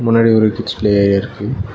முன்னாடி ஒரு kids play area இருக்கு.